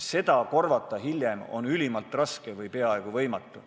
Seda hiljem korvata on ülimalt raske või peaaegu võimatu.